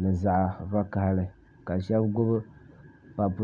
ni zaɣ' vakahili ka shɛba gbubi papu